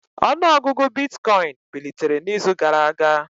Ọnụ ọgụgụ bitcoin bilitere n'izu gara aga